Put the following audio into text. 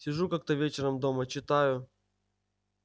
сижу как-то вечером дома читаю